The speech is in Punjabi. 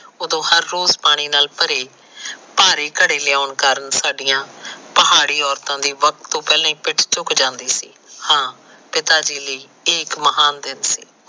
ਉਦੋ ਹਰ ਰੋਜ ਪਾਣੀ ਨਾਲ ਭਰੇ ਭਾਰੇ ਘੜੇ ਲਿਆਉਂਣ ਕਾਰਨ ਸਾਡੀਆਂ ਪਹਾੜੀ ਅੋਰਤਾ ਦੀ ਵਖਤ ਤੋ ਪਹਿਲਾ ਪਿਠ ਝੁਕ ਜਾਂਦੀ ਸੀ ਹਾ ਪਿਤਾ ਜੀ ਲਈ ਇੱਹ ਇੱਕ ਮਹਾਨ ਦਿਨ ਸੀ